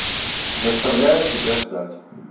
заставляю тебя ждать